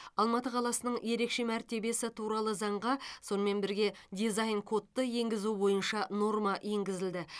алматы қаласының ерекше мәртебесі туралы заңға сонымен бірге дизайн кодты енгізу бойынша норма енгізілді